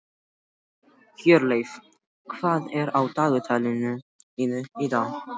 Hjörleif, hvað er á dagatalinu mínu í dag?